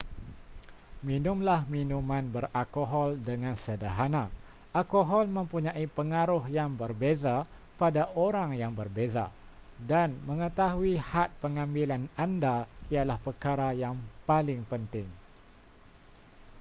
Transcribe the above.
minumlah minuman beralkohol dengan sederhana alkohol mempunyai pengaruh yang berbeza pada orang yang berbeza dan mengetahui had pengambilan anda ialah perkara yang paling penting